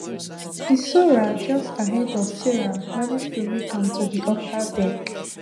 hissora just ahead of sarah manage to make am to di upper deck